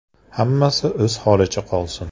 Hammasi o‘z holicha qolsin.